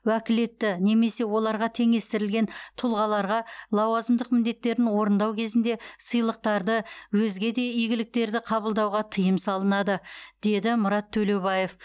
уәкілетті немесе оларға теңестірілген тұлғаларға лауазымдық міндеттерін орындау кезінде сыйлықтарды өзге де игіліктерды қабылдауға тыйым салынады деді мұрат төлеубаев